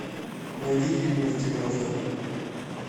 найди фильм из девяностых